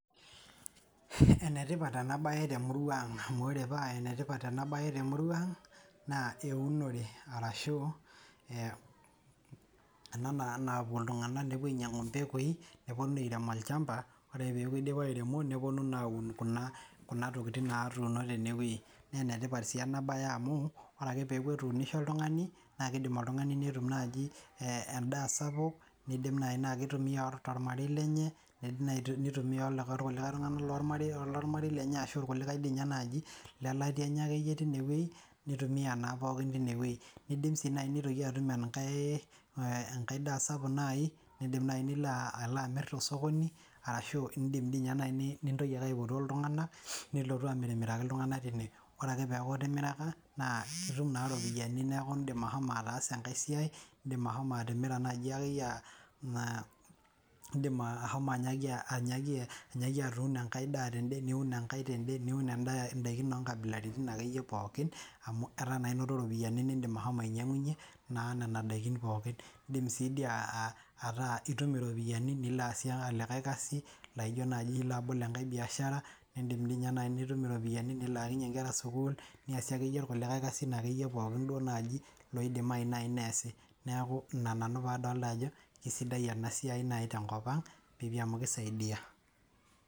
Enetipata enabaye temurua aang' amu ore paa enetipat anabaye te murua ang' naa eunore arashu ena naa naaku iltungana nepo ainyang'u empekui, neponu aarem olchamba, ore peaku eidipa airemo neponu naa aun kuna tokitikin naatuno teneweji naa enetipat sii enabaye amu ore ake peaku etuunishe oltungani naa eidim oltungani netum naaji endaa sapuk, neidim naa keitumiya to ormarei lenye, neidim neitumiya aitoki likae tungani lemara le ormarei lenye ashu lkulikae dei ninye le ilatia lenye ake iyie teine, neitumiya naa pooki teineweji neidim sii neitoki atum enkae daa sapuk nai, neidim nai nilo alo amir tosokoni ashu indim ninye nai nintoki ake aipotoo iltungana, nilotu amirmiraki iltunganak kulie. Ore ake peaku itimiraka, nitum naa iropiyiani naaku indim ashomo ataasa enkae siai, indim ashomo atimira naaji ake iyie, indim ashomo ake iyie atuuno enkae daa tende, niun enkae tende oonkabilaritin ake iyie pookin amu etaa inoto iropiyiani, nimindim ashomo ainyang'unye naa nena indikin pookin. Indim sii duo ataa itum iropiyiani nilo aasie olikae kasi naijo naaji ilo abol enkae mbiashara, nindim ninye naaji nitum iropiyiani nilaakinye inkera sukuul, niasie ake iyie lkulikae kasin naake iye pookin loidimai nai neasi. Naaku ina nanu paadolita ajo esidai ena siai nai tenkopang eji amu keisaidia.